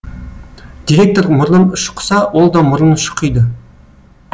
директор мұрнын шұқыса ол да мұрнын шұқиды